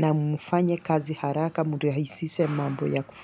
na mfanye kazi haraka mrahisishe mambo ya kufanya.